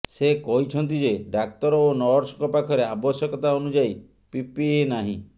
ସେ କହିଛନ୍ତି ଯେ ଡାକ୍ତର ଓ ନର୍ସଙ୍କ ପାଖରେ ଆବଶ୍ୟକତା ଅନୁଯାୟୀ ପିପିଇ ନାହିଁ